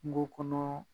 Kungo kɔnɔ